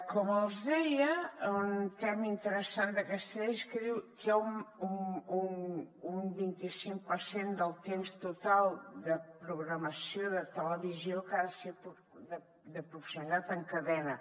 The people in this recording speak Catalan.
com els deia un tema interessant d’aquesta llei és que diu que un vint i cinc per cent del temps total de programació de televisió que ha de ser de proximitat en cadena